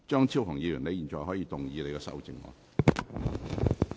張超雄議員，你現在可以動議你的修正案。